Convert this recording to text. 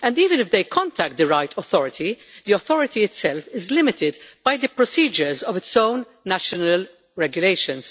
Even if they contact the right authority, the authority itself is limited by the procedures of its own national regulations.